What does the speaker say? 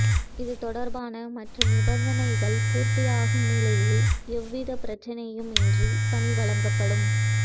இது தொடர்பான மற்ற நிபந்தனைகள் பூர்த்தியாகும் நிலையில் எவ்வித பிரச்னையும் இன்றி பணி வழங்கப்படும்